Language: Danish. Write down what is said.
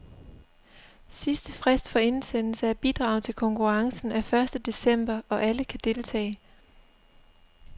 Sidste frist for indsendelse af bidrag til konkurrencen er første december, og alle kan deltage.